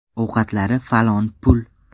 Ovqatlari falon pul.